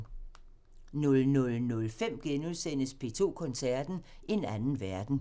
00:05: P2 Koncerten – En anden verden *